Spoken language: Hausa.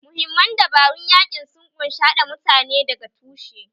Mahimman dabarun yaƙin sun ƙunshi haɗa mutane daga tushe